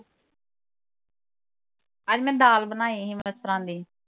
ਅੱਜ ਮੈਂ ਦਾਲ ਬਣਾਈ ਹੀ ਮਸਰਾ ਦੀ